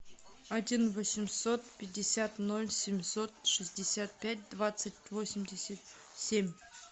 один восемьсот пятьдесят ноль семьсот шестьдесят пять двадцать восемьдесят семь